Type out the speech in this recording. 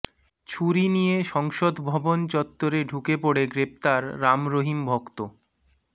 ছুরি নিয়ে সংসদভবন চত্বরে ঢুকে পড়ে গ্রেফতার রাম রহিম ভক্ত